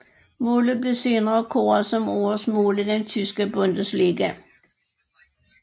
Målet blev senere kåret som årets mål i den tyske Bundesliga